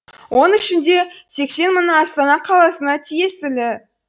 оның ішінде сексен мыңы астана қаласына тиесілі